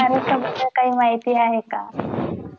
च्या मद्दल काही महिती आहे का?